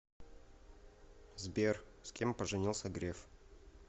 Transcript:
сбер с кем поженился греф